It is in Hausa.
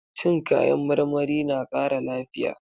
Cin kayan marmari na kara lafiya.